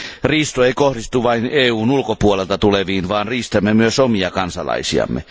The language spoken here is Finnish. Riisto ei kohdistu vain EUn ulkopuolelta tuleviin, vaan riistämme myös omia kansalaisiamme.